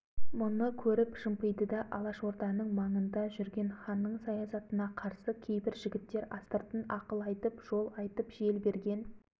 сібірде совет үкіметі құлап сібірді колчак билеп маңайына қара қанатын жайып қылыштың күшімен әмірін жүргізе бастаған кезде күнбатыс